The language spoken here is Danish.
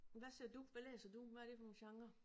Men hvad ser du hvad læser du hvad er det for nogle genrer